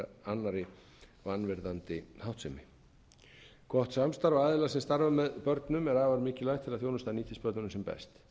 annarri vanvirðandi háttsemi gott samstarf við aðila sem starfa með börnum er afar mikilvægt til að þjónustan nýtist börnunum sem best samstarf verður að vera mjög virkt